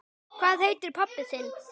Hvað heitir pabbi þinn?